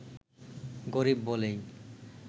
গরিব বলেই